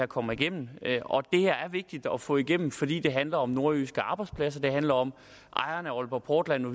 kommer igennem og det her er vigtigt at få igennem fordi det handler om nordjyske arbejdspladser det handler om ejerne af aalborg portland og